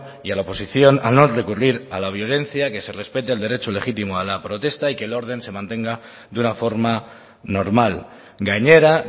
y a la oposición a no recurrir a la violencia que se respete el derecho legítimo a la protesta y que el orden se mantenga de una forma normal gainera